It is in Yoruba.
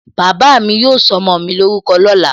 Bàbá mi yóò sọ ọmọ mi lórúkọ lóla